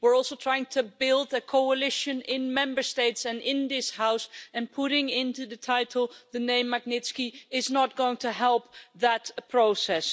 We're also trying to build a coalition in Member States and in this House, and putting into the title the name Magnitsky' is not going to help that process.